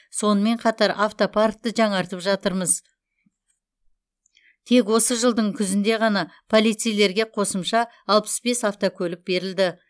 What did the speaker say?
сонымен қатар автопаркті жаңартып жатырмыз тек осы жылдың күзінде ғана полицеилерге қосымша алпыс бес автокөлік берілді